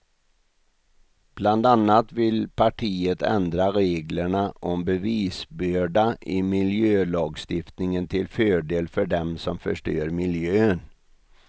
Bland annat vill partiet ändra reglerna om bevisbörda i miljölagstiftningen till fördel för dem som förstör miljön.